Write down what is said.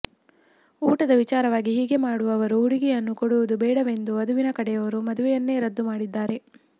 ಊಟದ ವಿಚಾರವಾಗಿ ಹೀಗೆ ಮಾಡುವವರು ಹುಡುಗಿಯನ್ನು ಕೊಡುವುದು ಬೇಡವೆಂದು ವಧುವಿನ ಕಡೆವರು ಮದುವೆಯನ್ನೇ ರದ್ದು ಮಾಡಿದ್ದಾರೆ